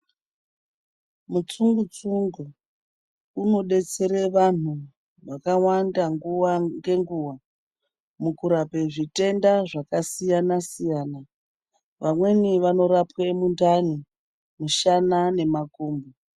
Mutsungu tsungu unodetsera vantu vakawanda nguwa ngenguwa mukurapa zvitenda zvakasiyana siyana vamweni vanorapwa mundani mushana nemakumbo.